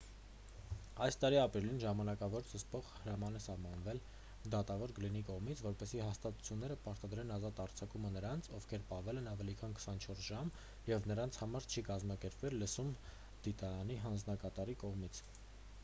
այս տարի ապրիլին ժամանակավոր զսպող հրաման է սահմանվել դատավոր գլինի կողմից որպեսզի հաստատությունները պարտադրեն ազատ արձակումը նրանց ովքեր պահվել են ավելի քան 24 ժամ և նրանց համար չի կազմակերպվել լսում դատարանի հանձնակատարի կողմից